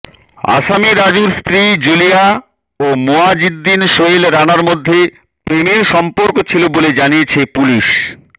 আসামি রাজুর স্ত্রী জুলিয়া ও মুয়াজ্জিন সোহেল রানার মধ্যে প্রেমের সম্পর্ক ছিল বলে জানিয়েছে পুলিশ